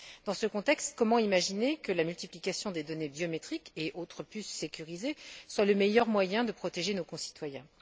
Dans ce contexte, comment imaginer que la multiplication des données biométriques et autres puces sécurisées soit le meilleur moyen de protéger nos concitoyens.